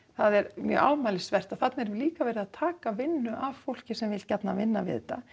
það er mjög ámælisvert að þarna er líka verið að taka vinnu af fólki sem vill gjarnan vinna við þetta